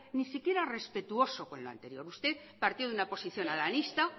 ni siquiera respetuoso con lo anterior usted partió de una posición haranista